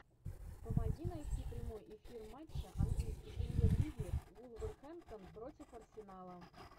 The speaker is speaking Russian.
помоги найти прямой эфир матча английской премьер лиги вулверхэмптон против арсенала